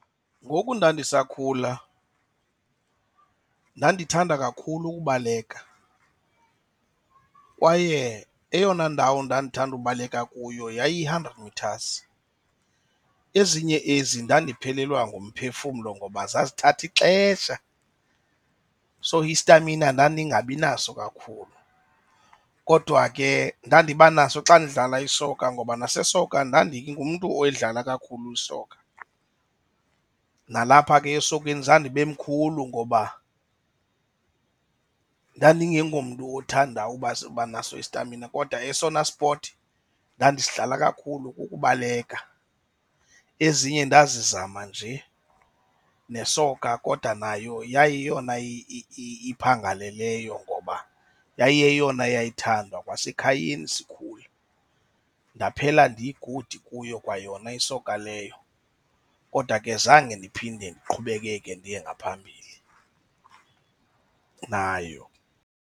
Ngoku ndandisakhula ndandithanda kakhulu ukubaleka kwaye eyona ndawo ndandithanda ubaleka kuyo yayi-hundred metres. Ezinye ezi ndiphelelwa ngumphefumlo ngoba zazithatha ixesha, so istamina ndandingabi naso kakhulu. Kodwa ke ndadiba naso xa ndidlala isoka ngoba nasesoka ndingumntu oyidlala kakhulu isoka. Nalapha ke esokeni zandibe mkhulu ngoba ndandingengomntu othanda uba uba naso isitamina kodwa esona sport ndandisidlala kakhulu kubaleka, ezinye ndazama nje nesoka. Kodwa nayo yayiyeyona iphangaleleyo ngoba yayiyeyona yayithandwa kwasekhayeni sikhula. Ndaphela ndi-good kuyo kwayona isoka leyo, kodwa ke zange ndiphinde ndiqhubekeke ndiye ngaphambili nayo.